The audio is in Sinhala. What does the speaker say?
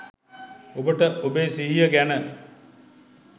ඔබට ඔබේ සිහිය ගැන